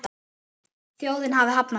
Þjóðin hafi hafnað því.